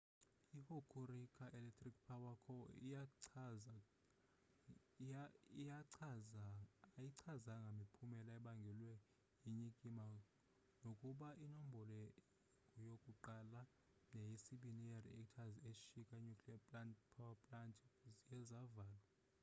i-hokuriku electric power co ayichazanga miphumela ebangelwe yinyikima nokuba inombolo-1 neye-2 ye-reactors eshika nuclearpower plant ziye zavalwa